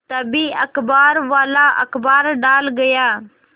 तभी अखबारवाला अखबार डाल गया